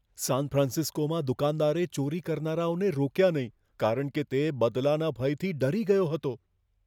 San ફ્રાન્સિસ્કોમાં દુકાનદારે ચોરી કરનારાઓને રોક્યા નહીં, કારણ કે તે બદલાના ભયથી ડરી ગયો હતો.